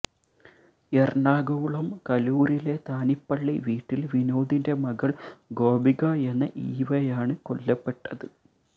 എറണാകുളം കലൂരിലെ താനിപ്പള്ളി വീട്ടില് വിനോദിന്റെ മകൾ ഗോപിക എന്ന ഈവയാണ് കൊല്ലപ്പെട്ടത്